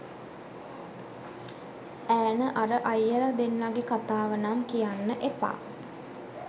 ඈන අර අයියලා දෙන්නගෙ කතාව නම් කියන්න එපා